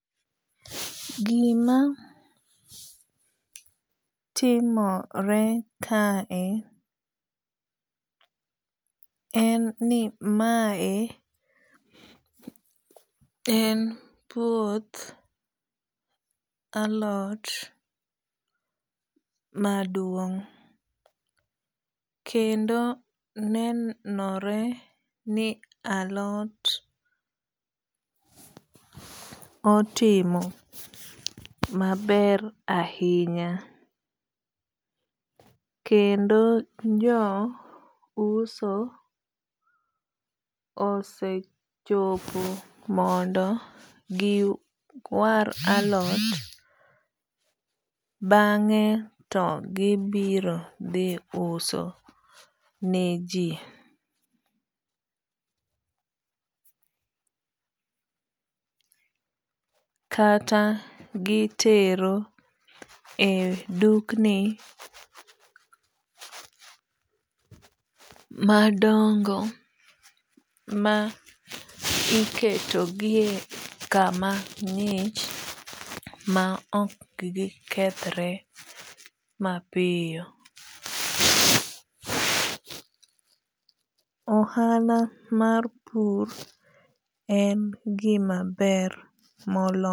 Gima timore ka e en ni mae en puoth alot maduong'. Kendo nenore ni alot otimo maber ahinya. Kendo jo uso osechopo mondo giwar alot bang'e to gibiro dhi uso ne ji. Kata gitero e dukni madongo ma iketogie kama ng'ich ma ok gikethre mapiyo. Ohala mar pur en gima ber moloyo.